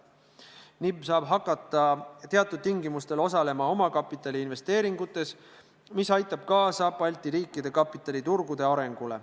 NIB saab hakata teatud tingimustel osalema omakapitaliinvesteeringutes, mis aitab kaasa Balti riikide kapitaliturgude arengule.